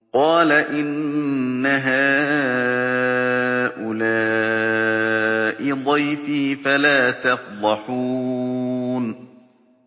قَالَ إِنَّ هَٰؤُلَاءِ ضَيْفِي فَلَا تَفْضَحُونِ